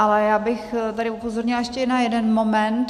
Ale já bych tady upozornila ještě na jeden moment.